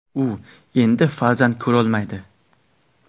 U endi farzand ko‘rolmaydi.